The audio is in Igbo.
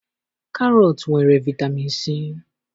Karọt nwere vitamin C.